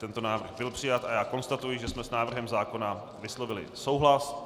Tento návrh byl přijat a já konstatuji, že jsme s návrhem zákona vyslovili souhlas.